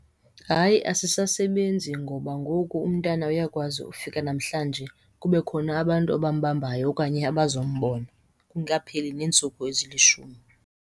Hayi, asisasebenzi ngoba ngoku umntana uyakwazi ufika namhlanje kube khona abantu abambambayo okanye abazombona kungekapheli neentsuku ezilishumi.